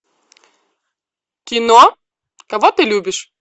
кино кого ты любишь